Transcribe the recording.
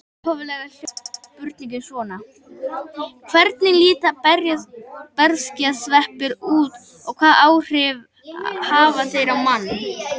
Upphaflega hljóðaði spurningin svona: Hvernig líta berserkjasveppir út og hvaða áhrif hafa þeir á mann?